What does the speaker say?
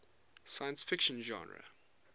science fiction genre